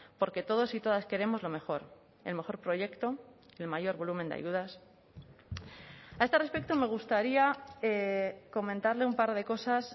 porque todos y todas queremos lo mejor el mejor proyecto el mayor volumen de ayudas a este respecto me gustaría comentarle un par de cosas